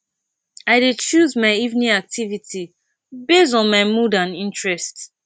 i dey choose my evening activity base on my mood and interest